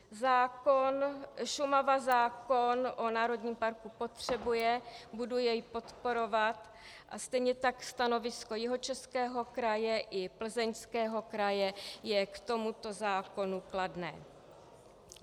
Šumava zákon o národním parku potřebuje, budu jej podporovat, a stejně tak stanovisko Jihočeského kraje i Plzeňského kraje je k tomuto zákonu kladné.